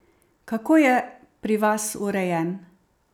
Kako je pri vas urejen?